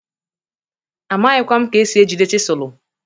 Amaghịkwa m ka esi ejide chịsụlụ.